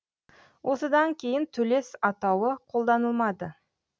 осыдан кейін төлес атауы қолданылмады